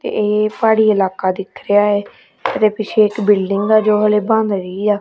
ਇਹ ਪਹਾੜੀ ਇਲਾਕਾ ਦਿਖ ਰਿਹਾ ਹੈ ਇਹਦੇ ਪਿੱਛੇ ਇੱਕ ਬਿਲਡਿੰਗ ਆ ਜੋ ਹਲੇ ਬਣ ਰਹੀ ਆ।